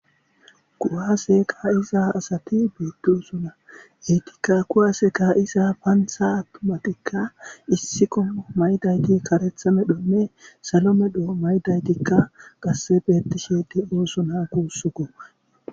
Kuwase ka'iza asati bettosona ettika kuwase ka'iza panththa attumatika issi qommo mayidayiti karetha medhonne sallo medho mayidayittika qase bettishe de'osona gussukko.